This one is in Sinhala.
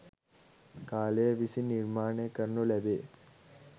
කාලය විසින් නිර්මාණය කරනු ලැබේ.